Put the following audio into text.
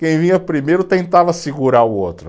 Quem vinha primeiro tentava segurar o outro.